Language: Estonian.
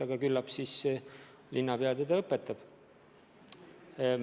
Aga küllap linnapea teda õpetab.